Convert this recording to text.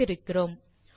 வைத்திருக்கிறோம்